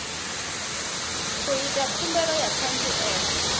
u ita khumbelo ya ṱhanziela